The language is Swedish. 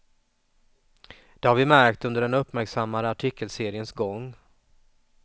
Det har vi märkt under den uppmärksammade artikelseriens gång.